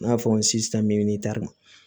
I n'a fɔ n si tɛ